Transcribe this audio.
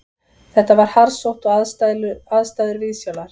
Þetta var harðsótt og aðstæður viðsjálar